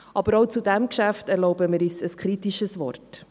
Aber auch zu diesem Geschäft erlauben wir uns ein kritisches Wort: